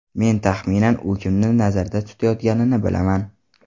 Men taxminan u kimni nazarda tutayotganini bilaman.